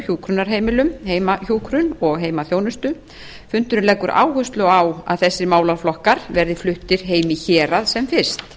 hjúkrunarheimilum heimahjúkrun og heimaþjónustu fundurinn leggur áherslu á að þessir málaflokkar verði fluttir heim í hérað sem fyrst